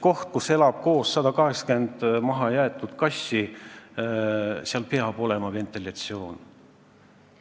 Kohas, kus elab koos 180 mahajäetud kassi, peab olema ventilatsioon.